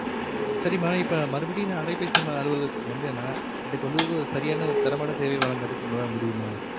சரிம்மா இப்ப நா மறுபடியும் அலைபேசி அலுவலகத்துக்கு வந்தன எனக்கு வந்து சரியான ஒரு தரமான சேவை வழங்குவதற்கு உங்களால முடியுமா